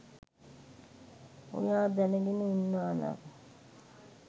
ඔයා දැනගෙන උන්නානම්